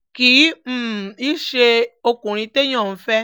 kì um í ṣe ọkùnrin téèyàn ń fẹ́